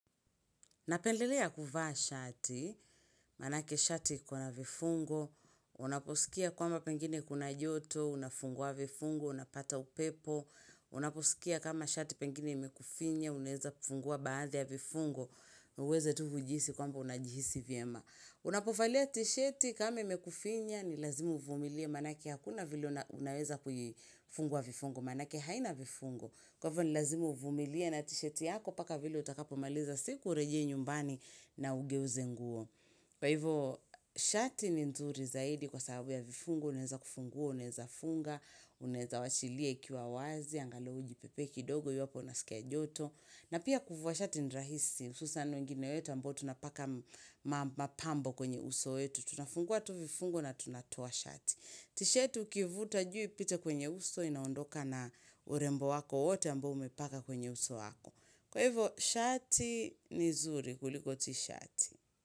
Napendelea kuvaa shati, maanake shati kuna vifungo, unaposikia kwamba pengine kuna joto, unafungua vifungo, unapata upepo, unaposikia kama shati pengine imekufinya, unaeza fungua baadhi ya vifungo, uweze tu ujihisi kwamba unajihisi vyema. Unapovalia tisheti kameimekufinya ni lazima uvumilie maanake hakuna vile unaweza kuifungua vifungo maanake haina vifungo Kwa hivyo ni lazima uvumilie na tisheti yako mpaka vile utakapo maliza siku urejee nyumbani na ugeuze nguo Kwa hivyo shati ni nzuri zaidi kwa sahabu ya vifungo unaeza kufungua unaeza funga unaeza wachilia ikiwa wazi Angalau ujipepee kidogo iwapo unasikia joto na pia kuvua shati ni rahisi hususan wengine wetu ambao tunapaka mapambo kwenye uso wetu Tunafungua tu vifungo na tunatoa shati T-shirt ukivuta juu pita kwenye uso Inaondoka na urembo wako wote ambao umepaka kwenye uso wako Kwa hivyo shati ni zuri kuliko t-shirt.